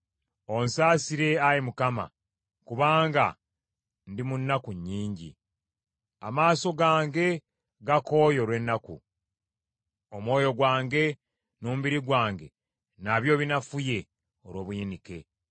Onsaasire, Ayi Mukama , kubanga ndi mu nnaku nnyingi; amaaso gange gakooye olw’ennaku; omwoyo gwange n’omubiri gwange nabyo binafuye olw’obuyinike.